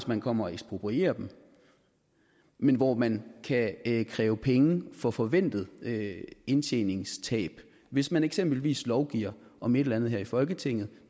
man kommer og eksproprierer dem men hvor man kan kræve penge for forventet indtjeningstab hvis man eksempelvis lovgiver om et eller andet her i folketinget